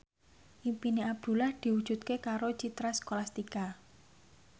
impine Abdullah diwujudke karo Citra Scholastika